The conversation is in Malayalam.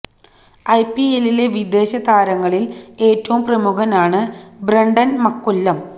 ഐ പി എല്ലിലെ വിദേശി താരങ്ങളില് ഏറ്റവും പ്രമുഖനാണ് ബ്രണ്ടന് മക്കുല്ലം